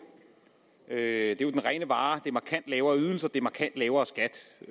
det er jo den rene vare det er markant lavere ydelser det er markant lavere skat